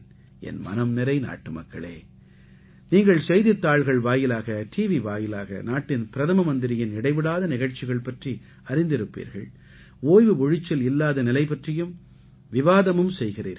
என் மனம் நிறை நாட்டுமக்களே நீங்கள் செய்தித்தாள்கள் வாயிலாக டிவி வாயிலாக நாட்டின் பிரதம மந்திரியின் இடைவிடாத நிகழ்ச்சிகள் பற்றி அறிந்திருப்பீர்கள் ஓய்வு ஒழிச்சல் இல்லாத நிலை பற்றியும் விவாதமும் செய்கிறீர்கள்